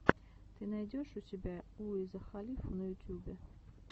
ты найдешь у себя уиза халифу на ютюбе